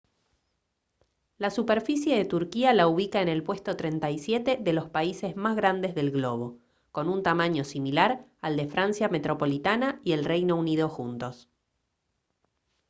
la superficie de turquía la ubica en el puesto 37 de los países más grandes del globo con un tamaño similar al de francia metropolitana y el reino unido juntos